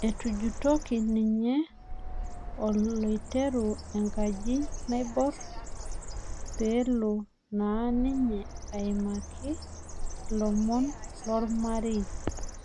Etujutoki ninye oloretu lenkaji naibor peelo naa ninye aimkai ilomon lormarei